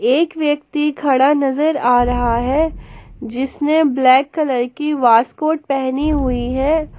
एक व्यक्ति खड़ा नजर आ रहा है जिसने ब्लैक कलर की वास्कोट पहनी हुई है।